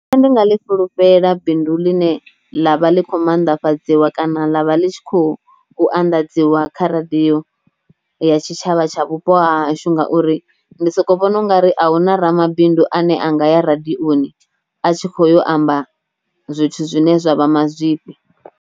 Nṋe ndi nga ḽi fhulufhela bindu ḽine ḽavha ḽi kho maanḓafhadziswa kana ḽavha ḽi tshi kho u anḓadziwa kha radio ya tshitshavha tsha vhupo ha hashu ngauri ndi soko vhona ungari ahuna ramabindu ane anga ya radioni a tshi kho amba zwithu zwine zwa vha mazwifhi.